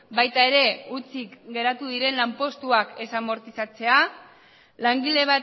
baita ere hutsik geratu diren lanpostuak ez amortizatzea langile